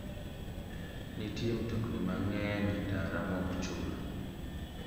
Nitie mtokni mang'eny e ndara ma ok chul.